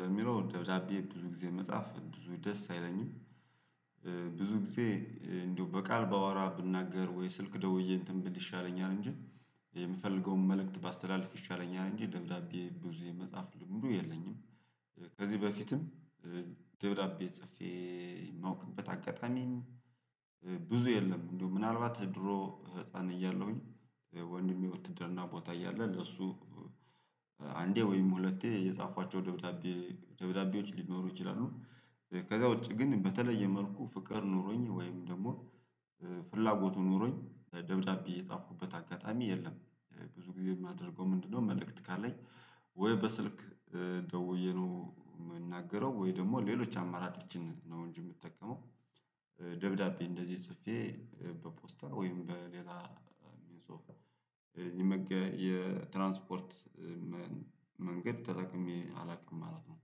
ለሚለው ደብዳቤ ብዙ ጊዜ መጻፍ ብዙ ደስ አይለኝም። ብዙ ጊዜ እንደው በቃል ባወራ ብናገር ወይ ስልክ ደውዬ እንትን ብል ይሻለኛል እንጂ የምፈልገውን መልእክት ባስተላልፍ ይሻለኛል እንጂ ደብዳቤ ብዙ የመጻፍ ልምዱ የለኝም። ከዚህ በፊትም ደብዳቤ ጽፌ የማውቅበት አጋጣሚ ብዙ የለም። እንደው ምናልባት ድሮ ህፃን እያለሁኝ ወንድሜ ወትድርና ቦታ እያለ ለእሱ አንዴ ወይም ሁለቴ የጻፍኳቸው ደብዳቤ ደብዳቤዎች ሊኖሩ ይችላሉ። ከዛ ውጪ ግን በተለየ መልኩ ፍቅር ኖሮኝ ወይም ደግሞ ፍላጎቱ ኖሮኝ ደብዳቤ የጻፍኩበት አጋጣሚ የለም። ብዙ ጊዜ የማደርገው ምንድነው? መልእክት ካለኝ ወይ በስልክ ደውዬ ነው የምንናገረው ወይ ደግሞ ሌሎች አማራጮችን ነው እንጂ የምጠቀመው። ደብዳቤ እንደዚህ ጽፌ በፖስታ ወይም በሌላ ሚንስ ኦፍ የትራንስፖርት መንገድ ተጠቅሜ አላውቅም ማለት ነው።